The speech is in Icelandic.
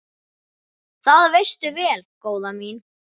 Það veistu vel, góða mín.